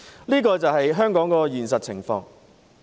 這便是香港的現實情況。